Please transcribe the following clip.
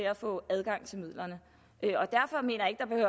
at få adgang til midlerne